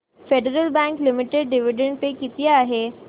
federal bank limited dividend pay किती आहे